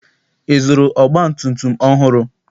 Ị zụrụ ọgbatumtum ọhụrụ?